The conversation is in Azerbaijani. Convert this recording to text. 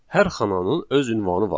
Hər xananın öz ünvanı var.